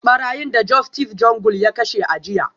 Barayin da Justice Jungle ya kashe a jiya